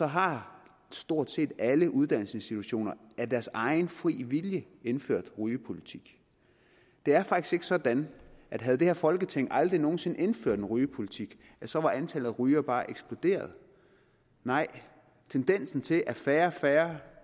har stort set alle uddannelsesinstitutioner af deres egen fri vilje indført en rygepolitik det er faktisk ikke sådan at havde det her folketing aldrig nogen sinde indført en rygepolitik så var antallet af rygere bare eksploderet nej tendensen til at færre og færre